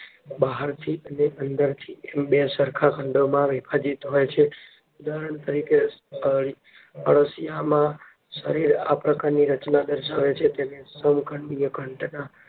બહારથી અને અંદર થી એમ બે સરખા ખંડોમાં વિભાજીત હોય છે. ઉદાહરણ તરીકે, અળશિયામાં શરીર આ પ્રકારની રચના દર્શાવે છે, તેને સમખંડીય